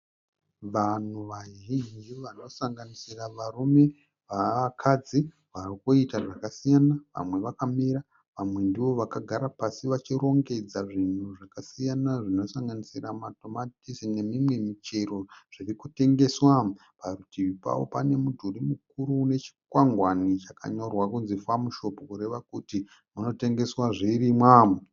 Vanhu vazhinji vanosanganisira varume nevakadzi vari kuita zvakasiyana. Vamwe vakamira vamwe ndoovakagara pasi vachirongedza zvinhu zvakasiyana zvinosanganisira matomatisi nemimwe michero zviri kutengeswa. Parutivi pavo pane mudhuri mukuru une chikwangwani chakanyorwa kunzi Farm shop kureva kuti munotengeswa zvirimwa.